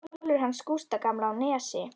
Kolur hans Gústa gamla á Nesi.